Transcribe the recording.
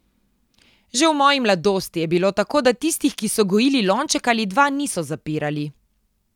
Že v moji mladosti je bilo tako, da tistih, ki so gojili lonček ali dva, niso zapirali.